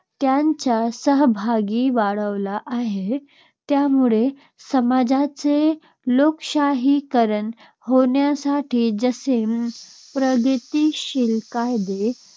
त्यांचा सहभागही वाढला आहे. त्यामुळे समाजाचे लोकशाहीकरण होण्यासाठी जसे प्रगतिशील कायदे